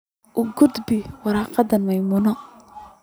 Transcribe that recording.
u gudbi warqada maimuna